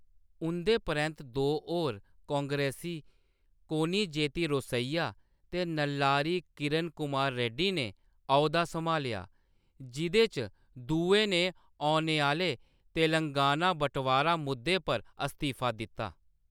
उंʼदे परैंत्त दो होर कांग्रेसी, कोनिजेती रोसैया ते नल्लारी किरण कुमार रेड्डी ने औह्‌द्धा सम्हालेआ, जिʼदे चा दुए ने औने आह्‌‌‌ले तेलंगाना बटवारा मुद्दे पर इस्तीफ़ा दित्ता।